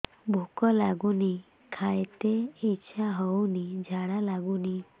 ଭୁକ ଲାଗୁନି ଖାଇତେ ଇଛା ହଉନି ଝାଡ଼ା ଲାଗୁନି